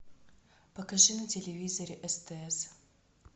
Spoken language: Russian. покажи на телевизоре стс